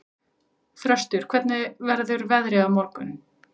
Þröstur, hvernig verður veðrið á morgun?